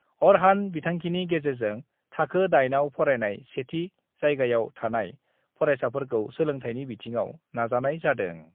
आरहान बिथांखिनि गेजेरजों थाखो 8 आव फरायनाय सेथि जायगायाव थानाय फरायसाखौ सोलोंथायनि बिथिङाव नाजानाय जादों।